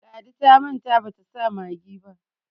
ladi ta manta bata sa maggi ba